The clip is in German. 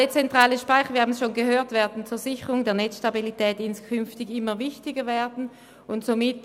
Dezentrale Speicher werden für die Sicherung der Netzstabilität inskünftig immer wichtiger werden, wie wir bereits gehört haben.